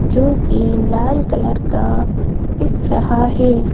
जो कि लाल कलर का दिख रहा है।